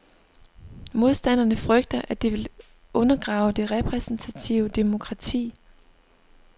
Modstanderne frygter, at det vil undergrave det repræsentative demokrati.